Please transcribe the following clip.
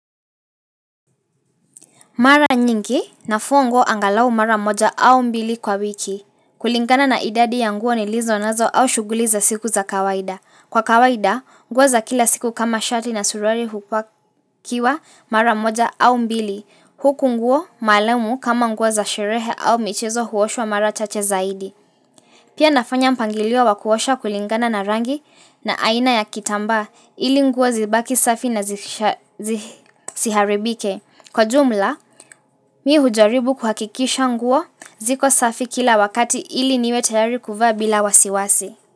Mara nyingi nafua nguo angalau mara moja au mbili kwa wiki. Kulingana na idadi ya nguo nilizo nazo au shughuli za siku za kawaida. Kwa kawaida, nguo za kila siku kama shati na surali hupakiwa mara moja au mbili. Huku nguo, maalumu kama nguo za sherehe au michezo huoshwa mara chache zaidi. Pia nafanya mpangilio wa kuosha kulingana na rangi na aina ya kitamba ili nguo zibaki safi na zisiharibike. Kwa jumla, mimi hujaribu kuhakikisha nguo ziko safi kila wakati ili niwe tayari kuvaa bila wasiwasi.